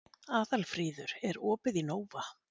Aðalfríður, er opið í Nova?